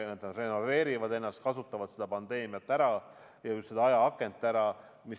Nad renoveerivad ennast, kasutavad seda pandeemiat ja just seda ajaakent ära.